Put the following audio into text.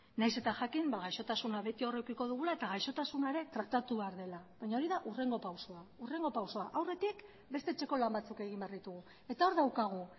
nahiz eta jakin gaixotasuna beti hor edukiko dugula eta gaixotasuna ere tratatu behar dela baina hori da hurrengo pausua aurretik beste etxeko lan batzuk egi behar ditugu eta hori daukagu